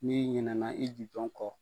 N'i ɲinɛna i jujɔn kɔ.